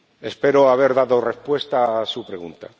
Espero haber dado respuesta a su pregunta.